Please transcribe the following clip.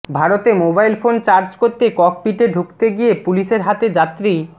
ভারতে mobile phone charge করতে ককপিটে ঢুকতে গিয়ে পুলিশের হাতে যাত্রী